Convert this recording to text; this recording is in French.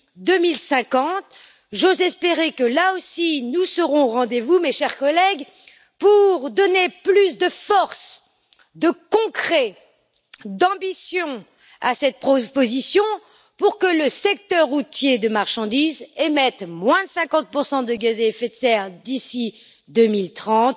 2050. J'ose espérer que, là aussi, nous serons au rendez vous, mes chers collègues, pour donner plus de force, de concret et d'ambition à cette proposition afin que le secteur routier de marchandises émette 50 de gaz à effet de serre en moins d'ici 2030